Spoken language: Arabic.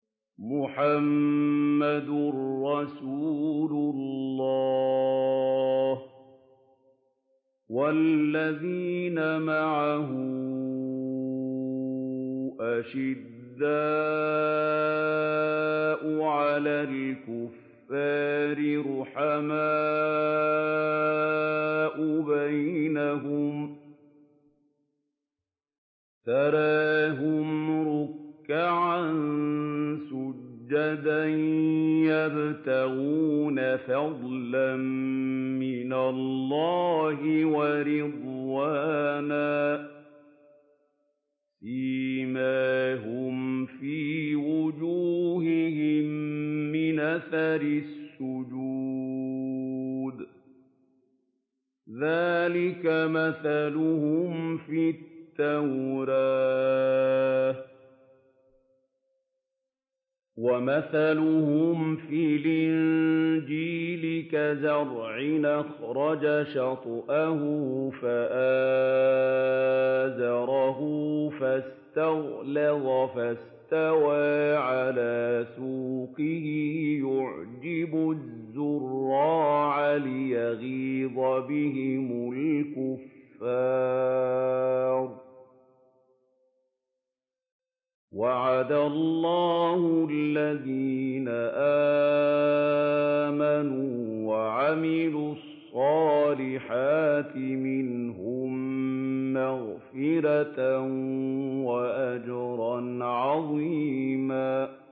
مُّحَمَّدٌ رَّسُولُ اللَّهِ ۚ وَالَّذِينَ مَعَهُ أَشِدَّاءُ عَلَى الْكُفَّارِ رُحَمَاءُ بَيْنَهُمْ ۖ تَرَاهُمْ رُكَّعًا سُجَّدًا يَبْتَغُونَ فَضْلًا مِّنَ اللَّهِ وَرِضْوَانًا ۖ سِيمَاهُمْ فِي وُجُوهِهِم مِّنْ أَثَرِ السُّجُودِ ۚ ذَٰلِكَ مَثَلُهُمْ فِي التَّوْرَاةِ ۚ وَمَثَلُهُمْ فِي الْإِنجِيلِ كَزَرْعٍ أَخْرَجَ شَطْأَهُ فَآزَرَهُ فَاسْتَغْلَظَ فَاسْتَوَىٰ عَلَىٰ سُوقِهِ يُعْجِبُ الزُّرَّاعَ لِيَغِيظَ بِهِمُ الْكُفَّارَ ۗ وَعَدَ اللَّهُ الَّذِينَ آمَنُوا وَعَمِلُوا الصَّالِحَاتِ مِنْهُم مَّغْفِرَةً وَأَجْرًا عَظِيمًا